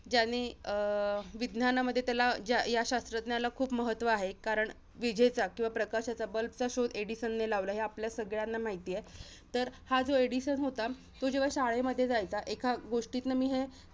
ज्याने, अं विज्ञानामध्ये त्याला ज्या~ या शास्त्रज्ञाला खूप महत्त्व आहे कारण, विजेच्या किंवा प्रकाशाच्या bulb चा शोध एडिसनने लावला. हे आपल्याला सगळ्यांना माहिती आहे. तर हा जो एडिसन होता, तो जेव्हा शाळेमध्ये जायचा. एका गोष्टीतनं मी हे